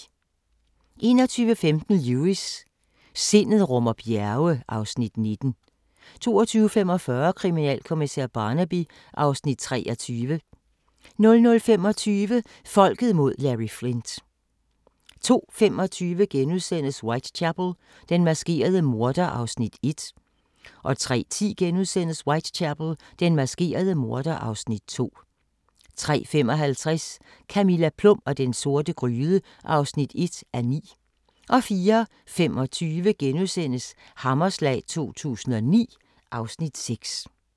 21:15: Lewis: Sindet rummer bjerge (Afs. 19) 22:45: Kriminalkommissær Barnaby (Afs. 23) 00:25: Folket mod Larry Flynt 02:25: Whitechapel: Den maskerede morder (Afs. 1)* 03:10: Whitechapel: Den maskerede morder (Afs. 2)* 03:55: Camilla Plum og den sorte gryde (1:9) 04:25: Hammerslag 2009 (Afs. 6)*